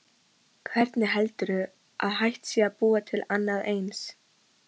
Hvernig heldurðu að hægt sé að búa til annað eins?